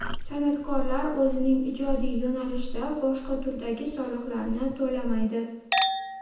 San’atkorlar o‘zining ijodiy yo‘nalishida boshqa turdagi soliqlarni to‘lamaydi.